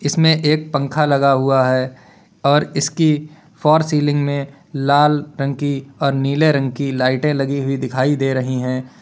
इसमें एक पंख लगा हुआ है और इसकी फॉर सीलिंग में लाल रंग की और नीले रंग की लाइटें लगी हुई दिखाई दे रही हैं।